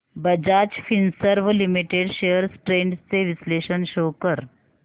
Bajaj Finserv limited shares trends चे विश्लेषण show कर